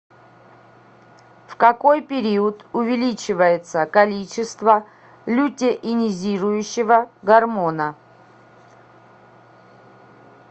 в какой период увеличивается количество лютеинизирующего гормона